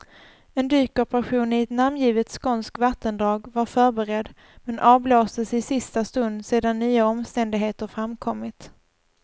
En dykoperation i ett namngivet skånskt vattendrag var förberedd, men avblåstes i sista stund sedan nya omständigheter framkommit.